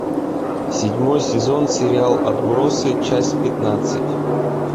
седьмой сезон сериал отбросы часть пятнадцать